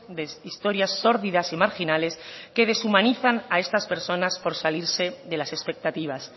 de historias sórdidas y marginales que deshumanizan a estas personas por salirse de las expectativas